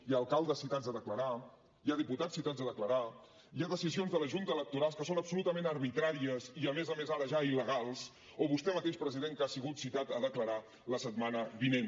hi ha alcaldes citats a declarar hi ha diputats citats a declarar hi ha decisions de la junta electoral que són absolutament arbitràries i a més a més ara ja il·legals o vostè mateix president que ha sigut citat a declarar la setmana vinent